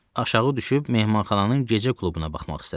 Aşağı düşüb mehmanxananın gecə klubuna baxmaq istədim.